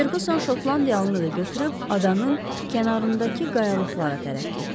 Ferquson şotlandiyalını da götürüb adanın kənarındakı qayalıqlara tərəf getdi.